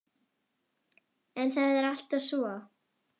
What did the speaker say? En er það alltaf svo?